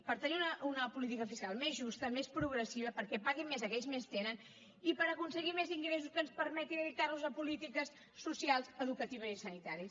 per tenir una política fiscal més justa més progressiva perquè paguin més aquells que més tenen i per aconseguir més ingressos que ens permetin dedicar los a polítiques socials educatives i sanitàries